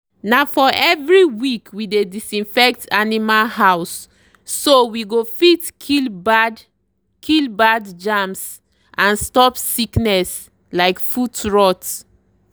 na for every week we dey disinfect animal houseso we go fit kill bad kill bad germs and stop sickness like foot rot.